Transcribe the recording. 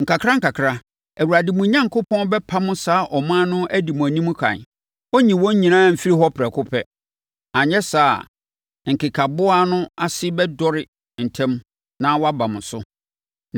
Nkakrankakra, Awurade, mo Onyankopɔn, bɛpamo saa aman no adi mo anim ɛkan. Ɔrenyi wɔn nyinaa mfiri hɔ prɛko pɛ; anyɛ saa a, nkekaboa no ase bɛdɔre ntɛm na wɔaba mo so.